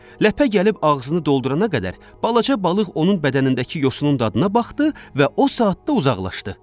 Ləpə gəlib ağzını doldurana qədər balaca balıq onun bədənindəki yosunun dadına baxdı və o saatda uzaqlaşdı.